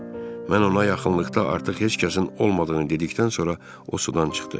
Mən ona yaxınlıqda artıq heç kəsin olmadığını dedikdən sonra o sudan çıxdı.